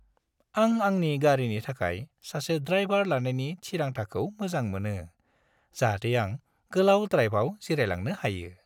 आं आंनि गारिनि थाखाय सासे ड्राइभार लानायनि थिरांथाखौ मोजां मोनो, जाहाथे आं गोलाव ड्राइभआव जिरायलांनो हायो।